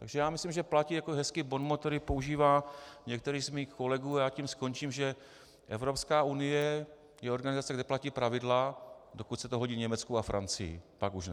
Takže já myslím, že platí jako hezký bonmot, který používá některý z mých kolegů, a já tím skončím, že Evropská unie je organizace, kde platí pravidla, dokud se to hodí Německu a Francii, pak už ne.